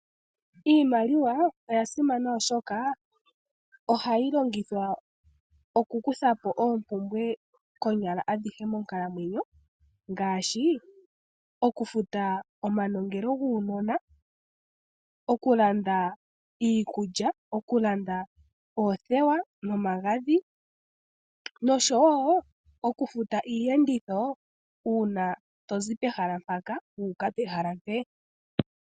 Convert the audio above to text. Iimaliw aoya simana, oshoka ohayi longithwa okukutha po oompumbwe adhihe konyala monkalamwenyo ngaashi okufuta omanongelo guunona, okulanda iikulya, okulanda oothewa nomagadhi noshowo okufuta iiyenditho uuna to zi pehala mpaka wu uka pehala mpeyaka.